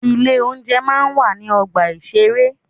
Ilé oúnjẹ máa ń wà ní ọgbà ìṣeré.